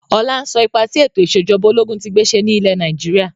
Ọlá ń sọ ipa tí ètò ìsèjọba ológun tí gbé ṣe ni ilẹ̀ Nàìjíríà.